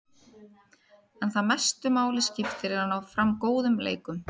En það sem mestu máli skiptir er að ná fram góðum leikum.